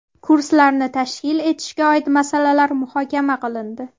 Kurslarni tashkil etishga oid masalalar muhokama qilindi.